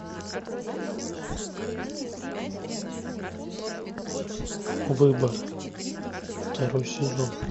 выбор второй сезон